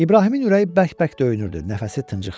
İbrahimin ürəyi bərk-bərk döyünürdü, nəfəsi tıncıxırdı.